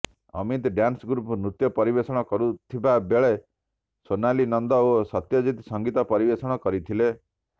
Amit dance group ନୃତ୍ୟ ପରିବେଷଣ କରିଥିବା ବେଳେ ସୋନାଲି ନନ୍ଦ ଓ ସତ୍ୟଜିତ ସଂଗୀତ ପରିବେଷଣ କରିଥିଲେ